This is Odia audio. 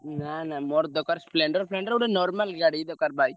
ନା ନା ମୋର ଦରକାର Splendor ଫେଣ୍ଡର ଗୋଟେ normal ଗାଡି ଦରକାର bike ।